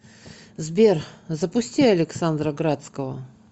сбер запусти александра градского